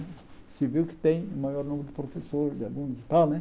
O civil que tem o maior número de professores, de alunos e tal, né?